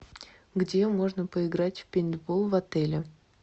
где можно поиграть в пейнтбол в отеле